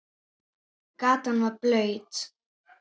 Gatan var blaut.